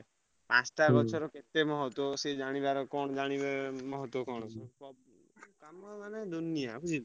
ପାଞ୍ଚ ଟା ଗଛରୁ କେତେ ମହତ୍ତ୍ଵ ସେ ଜାଣିବାର କଣ ଜାଣିବେ ମହତ୍ତ୍ଵ କଣ ବୋଲି। କାମ ମାନେ ଦୁନିଆ ବୁଝିଲୁ।